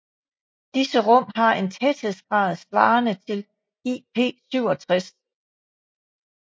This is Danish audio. Disse rum har en tæthedsgrad svarende til IP67